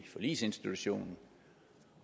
i forligsinstitutionen